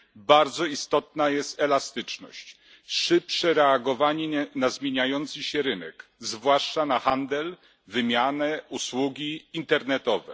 Bardzo istotna jest elastyczność, szybsze reagowanie na zmieniający się rynek, zwłaszcza na handel, wymianę, usługi internetowe.